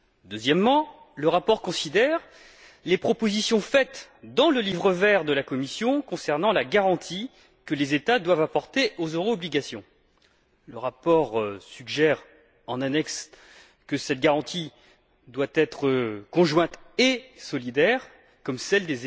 Deuxièmement, le rapport considère les propositions faites dans le livre vert de la Commission concernant la garantie que les États doivent apporter aux euro obligations. Le rapport suggère, en annexe, que cette garantie doit être conjointe et solidaire, comme celle